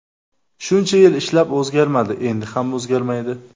Shuncha yil ishlab o‘zgarmadi, endi ham o‘zgarmaydi.